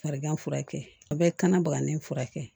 Farigan furakɛ a bɛɛ kana bagani furakɛ